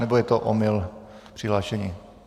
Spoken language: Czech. Nebo je to omyl v přihlášení?